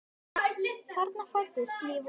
Þarna fæddist ný von.